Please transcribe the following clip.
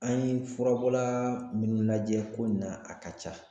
An ye furabɔla munnu lajɛ ko na a ka ca.